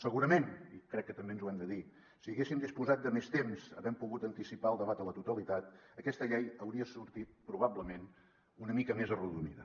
segurament i crec que també ens ho hem de dir si haguéssim disposat de més temps havent pogut anticipar el debat a la totalitat aquesta llei hauria sortit probablement una mica més arrodonida